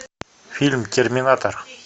фильм терминатор